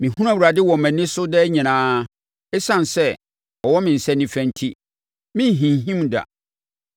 Mehunu Awurade wɔ mʼani so daa nyinaa. Esiane sɛ ɔwɔ me nsa nifa enti, merenhinhim da.